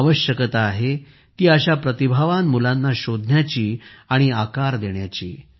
आवश्यकता आहे ती अशा प्रतिभावान मुलांना शोधण्याची आणि आकार देण्याची